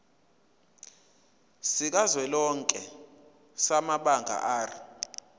sikazwelonke samabanga r